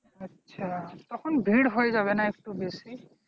আচ্ছা তখন ভিড় হয়ে যাবেনা একটু বেশি